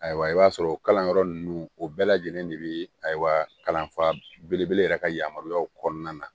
Ayiwa i b'a sɔrɔ o kalanyɔrɔ ninnu o bɛɛ lajɛlen de bɛ a kalanfa belebele yɛrɛ ka yamaruyaw kɔnɔna na